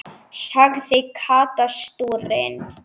sagði Kata stúrin.